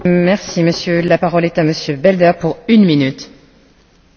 Geloofsvrijheid is een groot goed, zeker op Cuba.